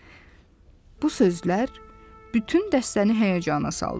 Bu sözlər bütün dəstəni həyəcana saldı.